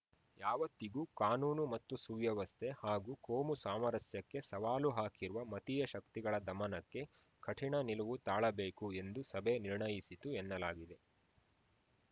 ಯಾವತ್ತಿಗೂ ಕಾನೂನು ಮತ್ತು ಸುವ್ಯವಸ್ಥೆ ಹಾಗೂ ಕೋಮು ಸಾಮರಸ್ಯಕ್ಕೆ ಸವಾಲು ಹಾಕಿರುವ ಮತೀಯ ಶಕ್ತಿಗಳ ದಮನಕ್ಕೆ ಕಠಿಣ ನಿಲುವು ತಾಳಬೇಕು ಎಂದು ಸಭೆ ನಿರ್ಣಯಿಸಿತು ಎನ್ನಲಾಗಿದೆ